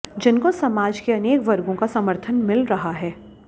जिनको समाज के अनेक वर्गों का समर्थन मिल रहा है